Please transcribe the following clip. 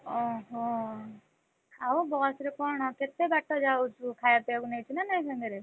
ଓହୋ ଆଉ ବସ ରେ କଣ କେତେ ବାଟ ଯାଉଚୁ ଖାୟା ପିୟାକୁ ନେଇଚୁ ନା ନାଇ ସାଙ୍ଗେରେ?